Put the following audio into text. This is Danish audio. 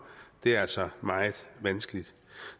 er altså meget vanskeligt